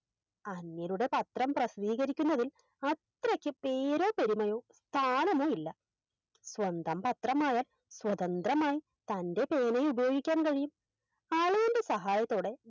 അങ്ങേരുടെ പത്രം പ്രസിദ്ധീകരിക്കുന്നതിൽ അത്രയ്ക്ക് പേരോ പെരുമായോ സ്ഥാനമോ ഇല്ല സ്വന്തം പത്രമായാൽ സ്വതന്ത്രമായി തൻറെ പേന ഉപയോഗിക്കാൻ കഴിയും അളിയൻറെ സഹായത്തോടെ